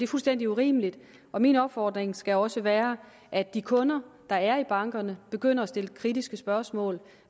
fuldstændig urimeligt og min opfordring skal også være at de kunder der er i bankerne begynder at stille kritiske spørgsmål